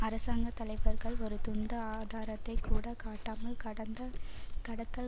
அரசாங்க தலைவர்கள் ஒரு துண்டு ஆதாரத்தை கூட காட்டாமல் கடந்த கடத்தல்